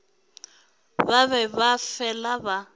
ba be ba fela ba